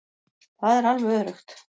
Það er alveg öruggt.